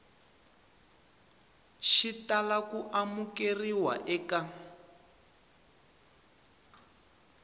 xi tala ku amukeriwa eka